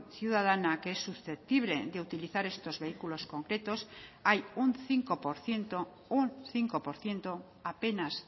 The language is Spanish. ciudadana que es susceptible de utilizar estos vehículos concretos hay un cinco por ciento un cinco por ciento apenas